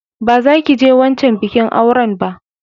Ba za ki je wancan bikin auran ba!